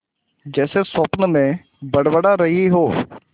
जैसे स्वप्न में बड़बड़ा रही हो